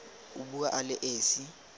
o bua a le esi